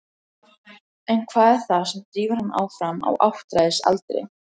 En hvað er það sem drífur hann áfram á áttræðisaldri?